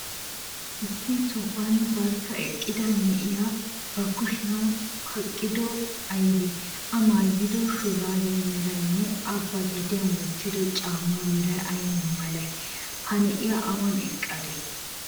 Issi sohuwan barkka eqqida na'iyaa ba hashiyan kaqqidobay aybee?A maayido shuraabiya meraynne,A ba gediyan wottido caammaa meray ay malee? Ha na'iya awan eqqadee?